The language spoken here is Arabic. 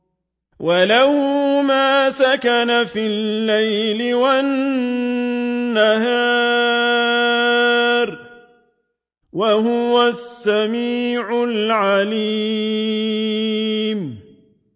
۞ وَلَهُ مَا سَكَنَ فِي اللَّيْلِ وَالنَّهَارِ ۚ وَهُوَ السَّمِيعُ الْعَلِيمُ